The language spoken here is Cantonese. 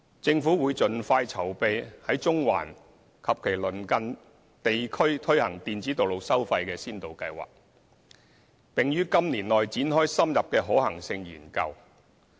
政府會盡快籌備在中環及其鄰近地區推行電子道路收費先導計劃，並於今年內展開深入的可行性研究。